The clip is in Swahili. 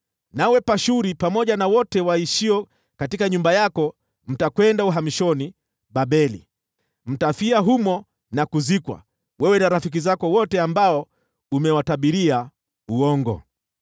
Nawe Pashuri pamoja na wote waishio katika nyumba yako mtakwenda uhamishoni Babeli. Mtafia humo na kuzikwa, wewe na rafiki zako wote ambao umewatabiria uongo.’ ”